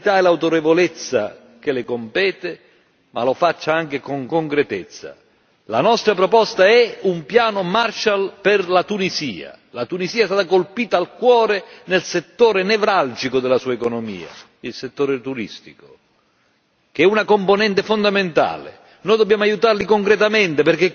Ma non lo faccia soltanto con la solennità e l'autorevolezza che le compete bensì anche con concretezza. La nostra proposta è un Piano Marshall per la Tunisia. La Tunisia è stata colpita al cuore nel settore nevralgico della sua economia il settore turistico, che è una componente fondamentale.